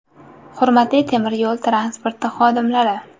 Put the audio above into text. Hurmatli temir yo‘l transporti xodimlari!